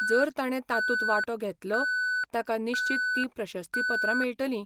जर ताणें तातूंत वांटो घेतलो, ताका निश्चीत तीं प्रशस्तीपत्रां मेळटलीं.